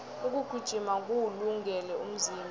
ukugijima kuwulungele umzimba